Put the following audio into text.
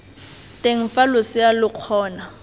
teng fa losea lo kgona